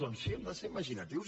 doncs sí hem de ser imaginatius